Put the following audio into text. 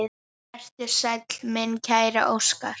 Vertu sæll, minn kæri Óskar.